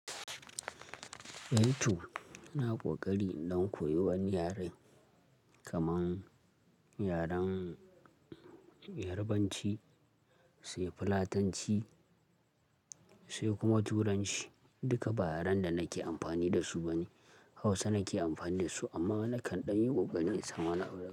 YouTube na ƙoƙari don koyar wani yare kaman yaren Yarbanci sai Fulatanci sai kuma Turanci duka ba yaren da nake amfani da su bane Hausa nake amfani da su amma nakan ɗan yi ƙoƙarin sama nau'i.